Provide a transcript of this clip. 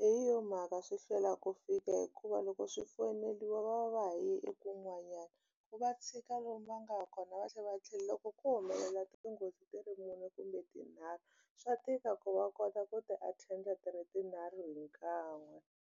hi yo mhaka swi hlwela ku fika hikuva loko swi foyineriwa va va va ha yi eku n'wanyani ku va tshika lomu va nga kona va tlhela va tlhela loko ko humelela tinghozi ti ri mune kumbe tinharhu swa tika ku va kota ku ti attend a ti ri tinharhu hi kan'we.